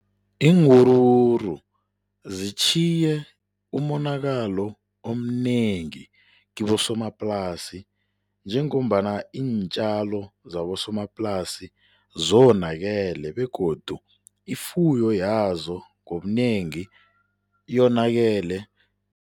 Iinwuruwuru zitjhiye umonakalo omnengi kibosomaplasi njengombana iintjalo zabosomaplasi zonakele begodu ifuyo yazo ngobunengi yonakele.